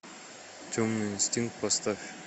темный инстинкт поставь